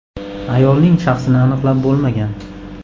Ayolning shaxsini aniqlab bo‘lmagan.